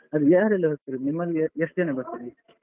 ಅದು ಯಾರೆಲ್ಲಾ ಹೋಗ್ತಿರುದು ನಿಮ್ಮಲ್ಲಿ ಎ~ ಎಷ್ಟು ಜನ ಬರ್ತಾರೆ?